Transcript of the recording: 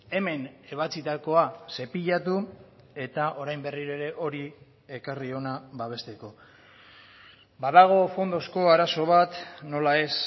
hemen ebatzitakoa zepilatu eta orain berriro ere hori ekarri hona babesteko badago fondozko arazo bat nola ez